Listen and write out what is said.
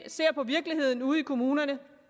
ser på virkeligheden ude i kommunerne